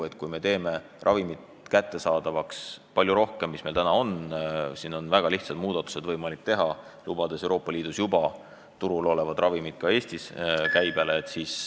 Et teha palju rohkem ravimeid kättesaadavaks, kui täna kättesaadavad on, on võimalik teha väga lihtsaid muudatusi, lubades Euroopa Liidus juba turul olevaid ravimeid ka Eestis käibele.